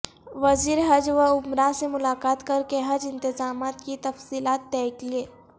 وزیر حج و عمرہ سے ملاقات کرکے حج انتظامات کی تفصیلات طے کیں